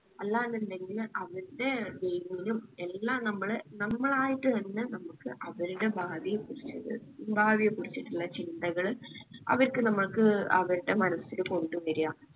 അല്ലാ എന്ന് ഇണ്ടെങ്കില് അവർടെ നും എല്ലാം നമ്മള് നമ്മളായിട്ട് തന്നെ നമ്മുക്ക് അവരുടെ ഭാവിയെ കുറിച്ചിട്ട് ഭാവിയെ കുറിച്ചിട്ടിള്ള ചിന്തകള് അവർക്ക് നമ്മൾക്ക് അവര്ടെ മനസ്സില് കൊണ്ട് വരുക